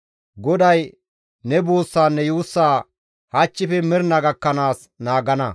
GODAY ne buussaanne yuussaa hachchife mernaa gakkanaas naagana.